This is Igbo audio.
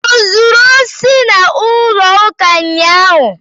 O zuru osi n'ụlọ ụka unyaahụ?